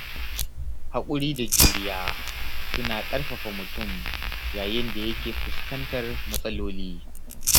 Haƙuri da juriya suna ƙarfafa mutum yayin da yake fuskantar matsaloli.